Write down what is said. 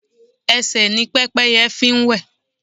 Ẹsẹ̀ ni Pẹ́pẹ́yẹ fi ń wẹ̀.